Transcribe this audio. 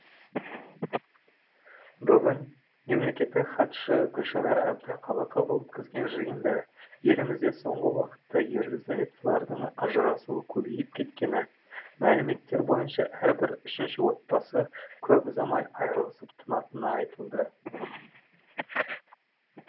бүгін мемлекеттік хатшы гүлшара әбдіқалықова өткізген жиында елімізде соңғы уақытта ерлі зайыптылардың ажырасуы көбейіп кеткені мәліметтер бойынша әрбір үшінші отбасы көп ұзамай айырылысып тынатыны айтылды